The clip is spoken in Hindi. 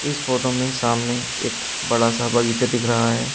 इस फोटो में सामने एक बड़ा सा बगीचा दिख रहा है।